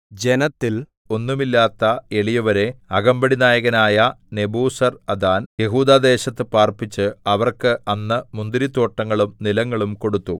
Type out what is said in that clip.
ജനത്തിൽ ഒന്നുമില്ലാത്ത എളിയവരെ അകമ്പടി നായകനായ നെബൂസർഅദാൻ യെഹൂദാദേശത്തു പാർപ്പിച്ച് അവർക്ക് അന്ന് മുന്തിരിത്തോട്ടങ്ങളും നിലങ്ങളും കൊടുത്തു